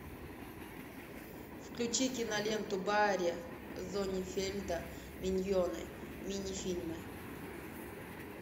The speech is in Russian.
включи киноленту барри зонненфельда миньоны минифильмы